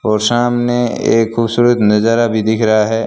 और सामने एक खूबसूरत नजारा भी दिख रहा है।